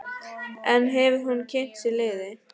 En hefur hún kynnt sér liðið?